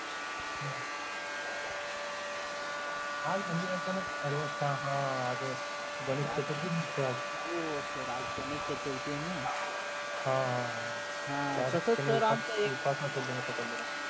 आज म्हणजे अचानक हा आजच गणेश चतुर्थी निमित्त हो sir आज गणेश चतुर्थी हाय ना हा तसेच तर आमचा एक उपवास पकडले